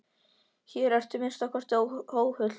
Hér ertu að minnsta kosti óhult.